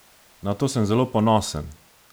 Na to sem zelo ponosen!